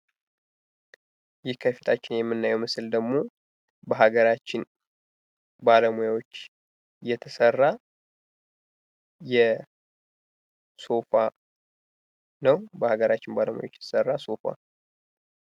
ይህ ከፊታችን የምናየው ምስል ደግሞ ሀገራችን ባለሙያዎች የተሰራ ሶፋ ነው። በሀገራችን ባለሙያዎች የተሠራ ሶፋ